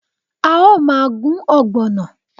A o maa gun ogbono